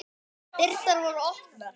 Dyrnar voru opnar.